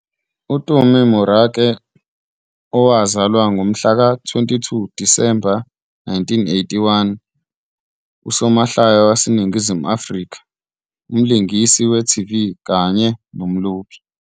UTumi Morake, owazalwa ngomhlaka-22 Disemba 1981, usomahlaya waseNingizimu Afrika, umlingisi, umlingisi we-TV kanye nomlobi.